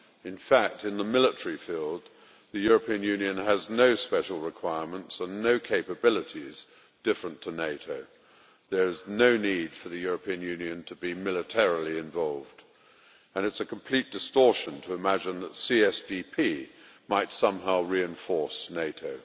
In fact, in the military field, the European Union has no special requirements and no capabilities different to NATO. There is no need for the European Union to be militarily involved, and it is a complete distortion to imagine that CSDP might somehow reinforce NATO.